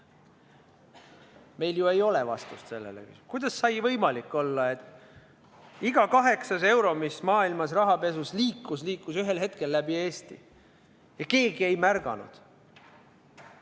Meil ei ole vastust sellele, kuidas sai võimalik olla, et iga kaheksas euro, mis maailmas rahapesus liikus, läks ühel hetkel läbi Eesti ja keegi ei märganud.